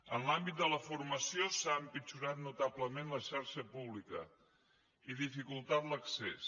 en l’àmbit de la formació s’ha empitjorat notablement la xarxa pública i dificultat l’accés